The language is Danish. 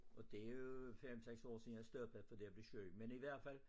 Og det jo 5 6 år siden jeg stoppede fordi jeg blev syg men i hvert fald